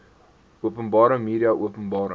openbare media openbare